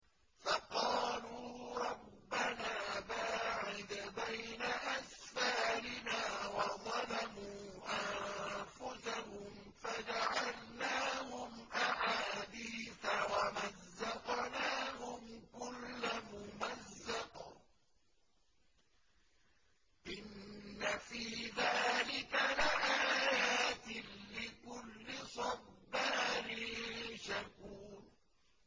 فَقَالُوا رَبَّنَا بَاعِدْ بَيْنَ أَسْفَارِنَا وَظَلَمُوا أَنفُسَهُمْ فَجَعَلْنَاهُمْ أَحَادِيثَ وَمَزَّقْنَاهُمْ كُلَّ مُمَزَّقٍ ۚ إِنَّ فِي ذَٰلِكَ لَآيَاتٍ لِّكُلِّ صَبَّارٍ شَكُورٍ